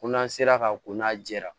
Ko n'an sera ka ko n'a jɛra